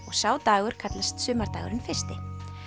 og sá dagur kallast sumardagurinn fyrsti